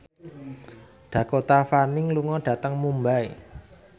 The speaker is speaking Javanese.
Dakota Fanning lunga dhateng Mumbai